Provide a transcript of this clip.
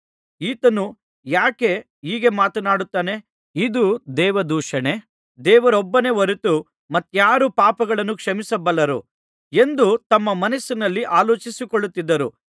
ಈತನು ಯಾಕೆ ಹೀಗೆ ಮಾತನಾಡುತ್ತಾನೆ ಇದು ದೇವದೂಷಣೆ ದೇವರೊಬ್ಬನೇ ಹೊರತು ಮತ್ತಾರು ಪಾಪಗಳನ್ನು ಕ್ಷಮಿಸಬಲ್ಲರು ಎಂದು ತಮ್ಮ ಮನಸ್ಸಿನಲ್ಲಿ ಆಲೋಚಿಸಿಕೊಳ್ಳುತ್ತಿದ್ದರು